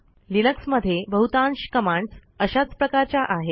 Linux मध्ये बहुतांश commands अशाच प्रकारच्या आहेत